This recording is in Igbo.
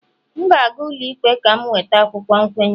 M ga-aga ụlọikpe ka m nweta akwụkwọ nkwenye